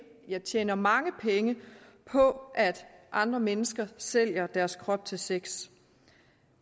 ja tjener mange penge på at andre mennesker sælger deres krop til sex